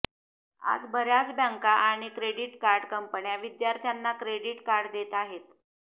आज बऱ्याच बँका आणि क्रेडिट कार्ड कंपन्या विद्यार्थ्यांना क्रेडिट कार्ड देत आहेत